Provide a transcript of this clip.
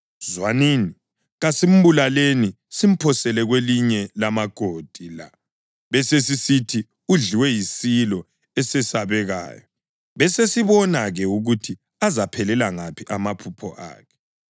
Zwanini, kasimbulaleni simphosele kwelinye lamagodi la besesisithi udliwe yisilo esesabekayo. Besesibona-ke ukuthi azaphelela ngaphi amaphupho akhe.”